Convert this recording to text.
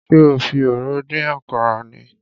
Ṣé o fi òróró dín àkàrà ni?